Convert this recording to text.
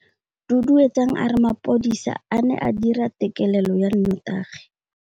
Duduetsang a re mapodisa a ne a dira têkêlêlô ya nnotagi.